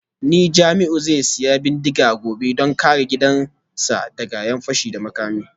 Ni Jamiu zai sayi bindiga gobe don kare gidansa daga ’yan fashi da makami